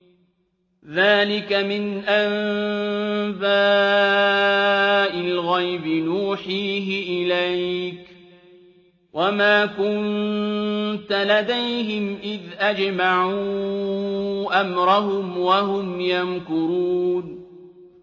ذَٰلِكَ مِنْ أَنبَاءِ الْغَيْبِ نُوحِيهِ إِلَيْكَ ۖ وَمَا كُنتَ لَدَيْهِمْ إِذْ أَجْمَعُوا أَمْرَهُمْ وَهُمْ يَمْكُرُونَ